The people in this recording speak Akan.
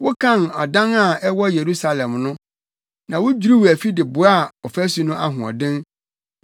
Wokan adan a ɛwɔ Yerusalem no na wudwiriw afi de boaa ɔfasu no ahoɔden.